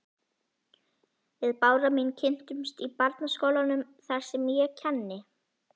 Við Bára mín kynntumst í barnaskólanum þar sem ég kenni.